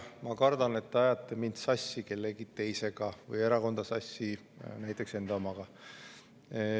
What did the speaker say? Ma kardan, et te ajate mind sassi kellegi teisega või erakonda sassi näiteks enda omaga.